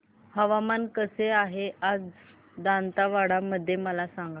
हवामान कसे आहे आज दांतेवाडा मध्ये मला सांगा